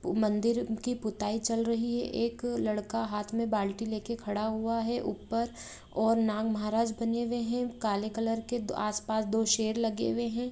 मंदिर की पुताई चल रही है एक लड़का हाथ में बाल्टी लेके खड़ा हुआ है ऊपर और नाग महाराज बने हुए है काले कलर के आस-पास दो शेर लगे हुए है।